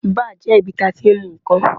Báà jẹ́ ibi tí a ti ń mu ìkan.